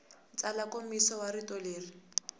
tsala nkomiso wa rito leri